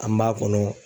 An b'a kɔnɔ